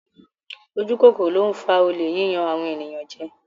Ojú kòkòrò ló ń fa olè, yíyan àwọn ènìyàn jẹ.